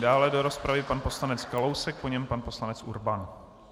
Dále do rozpravy pan poslanec Kalousek, po něm pan poslanec Urban.